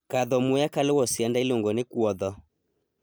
Kadho muya kaluwo sianda iluongo ni kuodho.